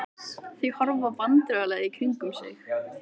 Þau horfa vandræðalega í kringum sig.